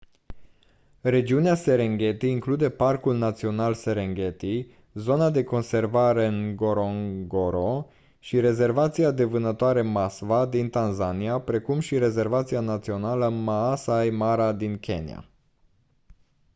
regiunea serengeti include parcul național serengeti zona de conservare ngorongoro și rezervația de vânătoare maswa din tanzania precum și rezervația națională maasai mara din kenya